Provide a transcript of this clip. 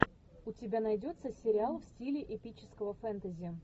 у тебя найдется сериал в стиле эпического фэнтези